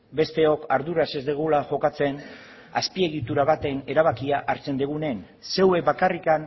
besteok arduraz ez dugula jokatzen azpiegitura baten erabakia hartzen dugunen zeuek bakarrik